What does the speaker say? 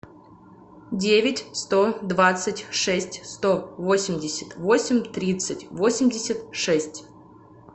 девять сто двадцать шесть сто восемьдесят восемь тридцать восемьдесят шесть